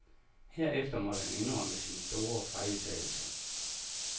Herefter måtte han indrømme sin store fejltagelse.